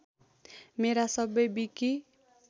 मेरा सबै विकि